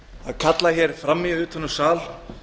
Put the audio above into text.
að kalla fram í utan úr sal